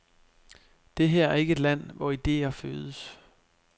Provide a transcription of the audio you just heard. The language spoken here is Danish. Det her er ikke et land, hvor idéer fødes.